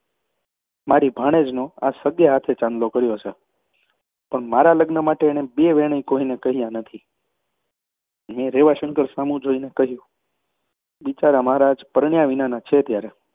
મારી ભાણેજનો આ સગે હાથે ચાંદલો કર્યો છે. પણ મારાં લગ્ન માટે એણે બે વેણેય કોઈને કહ્યાં નથી. મેં રેવાશંકર સામું જોઈને કહ્યું બિચારા મહારાજ પરણ્યા વિનાના છે ત્યારે!